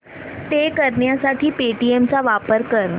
पे करण्यासाठी पेटीएम चा वापर कर